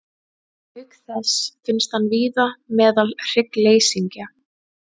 Auk þess finnst hann víða meðal hryggleysingja.